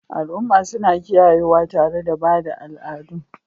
Al'umma suna kiyayewa tare da ba da al'adun